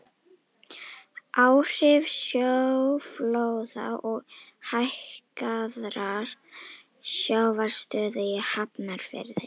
Áhrif sjóflóða og hækkaðrar sjávarstöðu í Hafnarfirði.